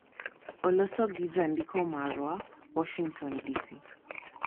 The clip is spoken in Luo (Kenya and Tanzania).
olos gi jandiko marwa, Warshington, DC